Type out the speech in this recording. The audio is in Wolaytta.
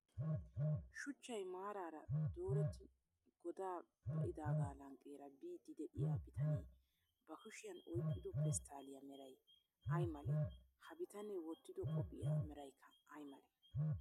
Shuchchay maaraara dooretti godaa ba'idaaga lanqqeera biddi de'iya bitanee ba kushiyan oyiqqido pesttaalliya meray ay malee? Ha bitanee wottido qophiya merayikka ayi malee?